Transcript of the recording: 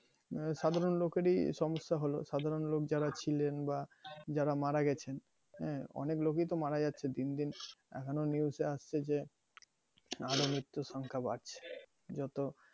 এবার সাধারণ লোকেরই সমস্যা হল। সাধারণ লোক যারা ছিলেন বা যারা মারা গেছেন, হ্যাঁ অনেক লোকই তো মারা যাচ্ছে দিন দিন। এখন ও news এ আসছে যে আর ও মিত্ত্যুর সংখ্যা বাড়ছে। যত